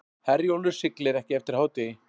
Herjólfur siglir ekki eftir hádegi